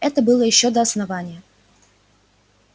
это было ещё до основания